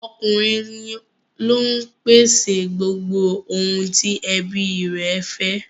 Ọkùnrin ló ń pèsè gbogbo ohun tí ẹbí i rẹ̀ fẹ́